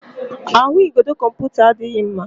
Ahụigodo kọmputa adịghị mma.